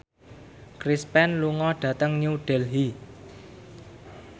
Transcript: Chris Pane lunga dhateng New Delhi